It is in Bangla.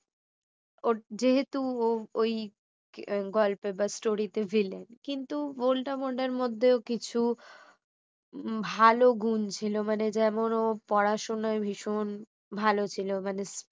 যেহেতু ওই গল্প বা story তে villen কিন্তু ভোল্টা মোড়ের মধ্যেও কিছু ভালো গুণ ছিল মানে যেমন ও পড়াশোনায় ভীষণ ভালো ছিল মানে